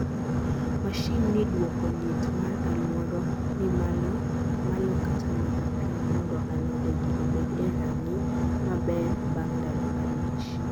mashin ni duoko liet mar aluoro ni malo kata mana piny mondo alode gi obed e ranginy ma ber bang ndalo abich